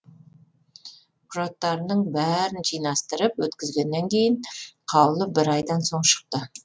құжаттарымның бәрін жинастырып өткізгеннен кейін қаулы бір айдан соң шықты